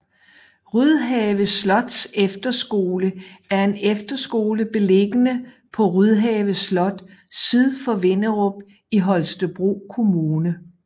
Rydhave Slots Efterskole er en efterskole beliggende på Rydhave Slot syd for Vinderup i Holstebro Kommune